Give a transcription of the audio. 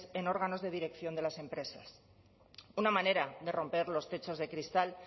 en órganos de dirección de las empresas una manera de romper los techos de cristal